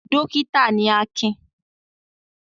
Dọ́kítá ni Akin.